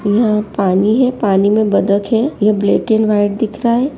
यहाँ पानी है। पानी में बदख है ये ब्लैक एंड वाइट दिख रहा है।